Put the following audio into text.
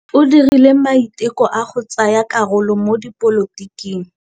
O dirile maitekô a go tsaya karolo mo dipolotiking.